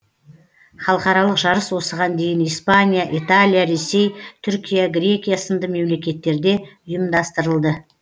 халықаралық жарыс осыған дейін испания италия ресей түркия грекия сынды мемлекеттерде ұйымдастырылды